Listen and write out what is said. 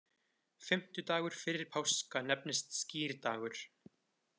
Fimmtudagur fyrir páska nefnist skírdagur.